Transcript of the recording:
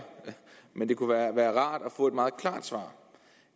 men det kunne jo være rart at få et meget klart svar